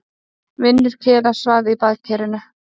Vinur Kela svaf í baðkerinu.